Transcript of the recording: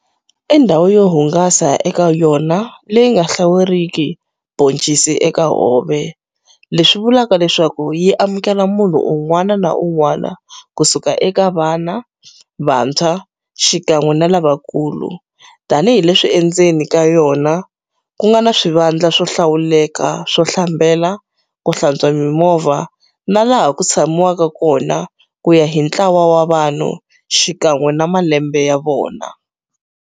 I ndhawu yo hungasa eka yona leyi nga hlawuriki boncisi eka hove leswi vulaku leswaku yi amukela munhu un'wana na un'wana ku suka eka vana, vantshwa xikan'we ni lava nkulu tanihileswi endzeni ka yona ku nga na swivandla swo hlawuleka swo hlambela, ko hlantswa mimovha na laha ku tshameliwaka kona kuya hi ntlawa wa vanhu xikwan'we na malembe ya vona.